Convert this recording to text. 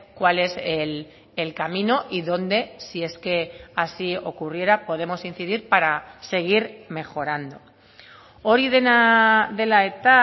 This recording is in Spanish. cuál es el camino y dónde si es que así ocurriera podemos incidir para seguir mejorando hori dena dela eta